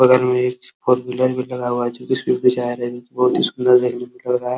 बगल में एक फोर व्हीलर भी लगा हुआ है जो कि स्पीड में जा रही बहोत ही सुंदर देखने में लग रहा है।